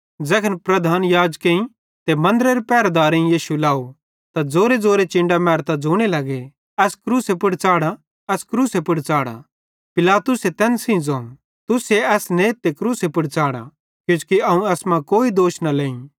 ज़ैखन प्रधान याजक ते मन्दरेरे पहरदारेईं यीशु लाव त ज़ोरेज़ोरे चिन्डां मैरतां ज़ोने लगे एस क्रूसे पुड़ च़ाढ़ा एस क्रूसे पुड़ च़ाढ़ा पिलातुसे तैन सेइं ज़ोवं तुसे एस नेथ ते क्रूसे पुड़ च़ाढ़ा किजोकि अवं एसमां कोई दोष न लेहीं